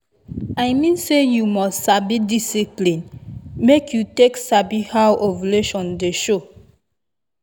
i mean say you must get discipline make you take sabi how ovulation dey show.